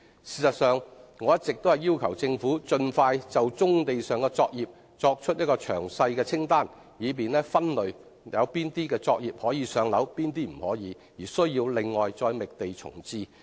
事實上，我一直要求政府盡快就棕地上的作業擬備一份詳細清單，以便分類哪些作業可以"上樓"，哪些不可"上樓"而需要另行覓地重置。